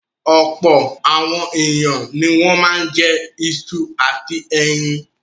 Ọ̀pọ̀ àwọn ènìyàn ni wọ́n máa ń jẹ iṣu àti ẹyin.